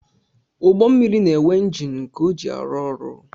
Ụgbọmmiri na-enwe njini nke ọ ji arụ ọrụ